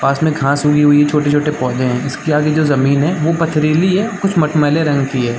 पास में घाँस उगी हुई हैं छोटे-छोटे कुछ पौधे हैं इसके आगे जो जमीन हैं वो पथरीली हैं कुछ मटमैले रंग की हैं।